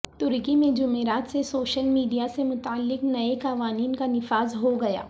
ترکی میں جمعرات سے سوشل میڈیا سے متعلق نئے قوانین کا نفاذ ہو گیا ہ